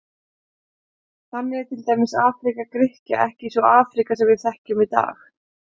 Þannig er til dæmis Afríka Grikkja ekki sú Afríka sem við þekkjum í dag.